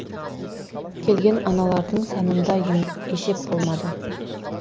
келген аналардың санында есеп болмады